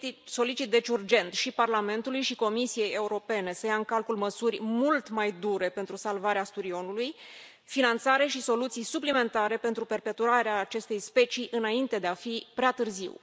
Solicit, așadar, de urgență și Parlamentului și Comisiei Europene să ia în calcul măsuri mult mai dure pentru salvarea sturioului, finanțare și soluții suplimentare pentru perpetuarea acestei specii înainte de a fi prea târziu.